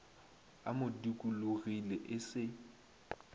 a mo dikologile e se